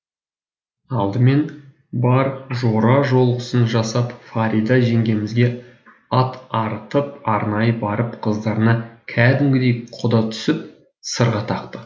алдымен бар жора жолғысын жасап фарида жеңгемізге ат арытып арнайы барып қыздарына кәдімгідей құда түсіп сырға тақты